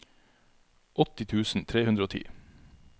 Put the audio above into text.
åtti tusen tre hundre og ti